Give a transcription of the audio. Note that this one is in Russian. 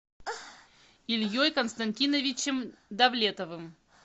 ильей константиновичем давлетовым